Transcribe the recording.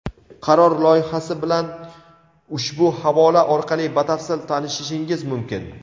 Qaror loyihasi bilan ushbu havola orqali batafsil tanishishingiz mumkin.